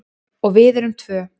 Og við erum tvö.